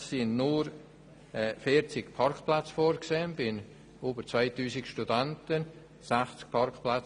Es sind nur 40 Parkplätze bei über 2000 Studenten vorgesehen.